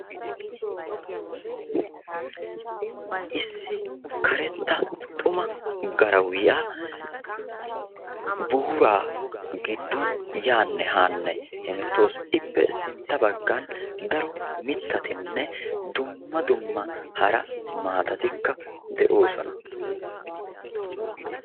issi karetta xuma garawiya buuraa giddon yaanne haanne hemettawusu. ippe sintta baggan daro mittatinne dumma dumma hara maatatikka de'oosona.